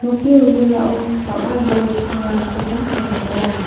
nokni wilwilao bang·a bol pangrangkoba nikatenga.